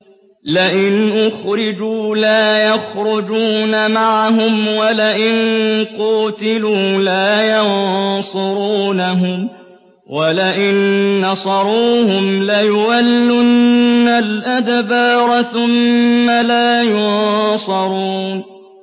لَئِنْ أُخْرِجُوا لَا يَخْرُجُونَ مَعَهُمْ وَلَئِن قُوتِلُوا لَا يَنصُرُونَهُمْ وَلَئِن نَّصَرُوهُمْ لَيُوَلُّنَّ الْأَدْبَارَ ثُمَّ لَا يُنصَرُونَ